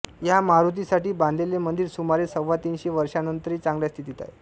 ह्या मारुतीसाठी बांधलेले मंदिर सुमारे सव्वातीनशे वर्षांनंतरही चांगल्या स्थितीत आहे